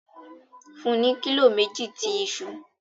Fun u ni kilo meji ti iṣu